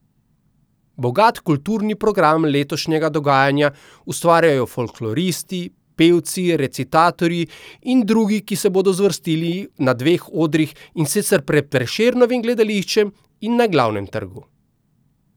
Bogat kulturni progam letošnjega dogajanja ustvarjajo folkloristi, pevci, recitatorji in drugi, ki se bodo zvrstili na dveh odrih, in sicer pred Prešernovim gledališčem in na Glavnem trgu.